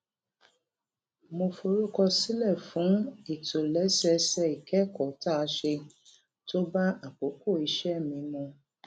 mo forúkọ sílè fún ìtòlésẹẹsẹ ìkékòó tá a ṣe tó bá àkókò iṣé mi mu